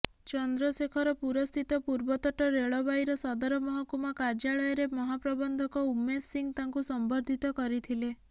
ଚନ୍ଦ୍ରଶେଖରପୁରସ୍ଥିତ ପୂର୍ବତଟ ରେଳବାଇର ସଦର ମହକୁମା କାର୍ଯ୍ୟାଳୟରେ ମହାପ୍ରବଂଧକ ଉମେଶ ସିଂହ ତାଙ୍କୁ ସମ୍ବର୍ଧିତ କରିଥିଲେ